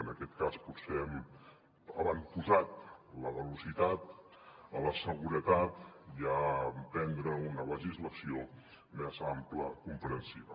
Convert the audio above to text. en aquest cas potser hem avantposat la velocitat a la seguretat i a emprendre una legislació més àmplia comprensiva